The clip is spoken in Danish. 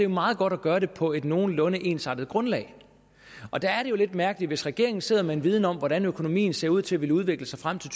meget godt at gøre det på et nogenlunde ensartet grundlag og der er det jo lidt mærkeligt for hvis regeringen sidder med en viden om hvordan økonomien ser ud til at ville udvikle sig frem til